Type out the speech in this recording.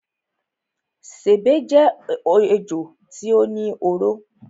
Sèbé jé ejò tí ó ní oró.